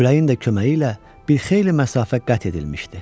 Küləyin də köməyi ilə bir xeyli məsafə qət edilmişdi.